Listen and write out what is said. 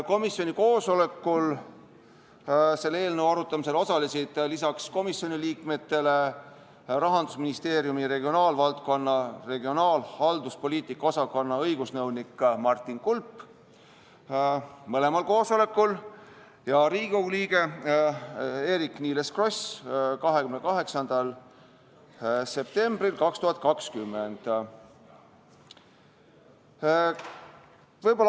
Komisjoni koosolekul osalesid selle eelnõu arutamisel lisaks komisjoni liikmetele Rahandusministeeriumi regionaalvaldkonna regionaalhalduspoliitika osakonna õigusnõunik Martin Kulp ja Riigikogu liige Eerik-Niiles Kross .